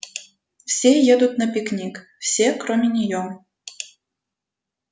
все едут на пикник все кроме неё